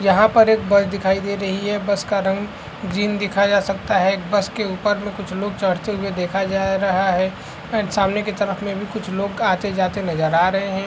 यहाँ पर एक बस दिखाई दे रही है बस का रंग ग्रीन देखा जा सकता है एक बस के ऊपर में कुछ लोग चढ़ते हुए देखा जा रहा है एंड सामने की तरफ में कुछ लोग आते जाते नजर आ रहे है।